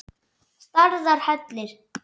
Stærðar hellir?